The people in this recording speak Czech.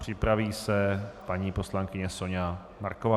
Připraví se paní poslankyně Soňa Marková.